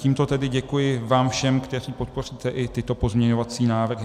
Tímto tedy děkuji vám všem, kteří podpoříte i tyto pozměňovací návrhy.